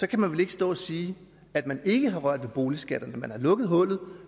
kan man vel ikke stå og sige at man ikke har rørt ved boligskatterne man har lukket hullet